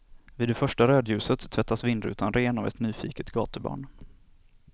Vid första rödljuset tvättas vindrutan ren av ett nyfiket gatubarn.